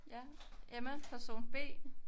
Ja Emma person B